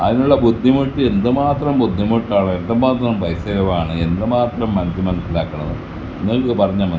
അതിനുള്ള ബുദ്ധിമുട്ട് എന്തുമാത്രം ബുദ്ധിമുട്ടാണ് എന്തുമാത്രം പൈസ ചിലവാണ് എന്തുമാത്രം മനസ്സ് മനസ്സിലാക്കണം നിങ്ങൾക്ക് പറഞ്ഞാൽ മന--